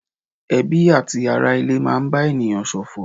Ẹbí àti ará ilé máa ń bá ènìyàn ṣòfò.